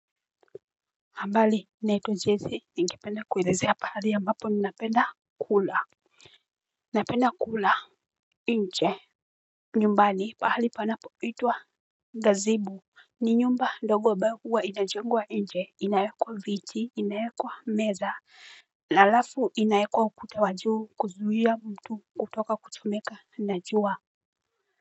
Habari naitwa joyce ningependa kuelezea pahali ambapo ninapenda kula. Napenda kula nje. Nyumbani pahali panapoitwa Gazibu ni nyumba ndogo ambayo huwa inajengwa nje inawekwa viti inawekwa meza alafu inawekwa ukuta wa juu kuzuia mtu kutoka kuchomeka na jua.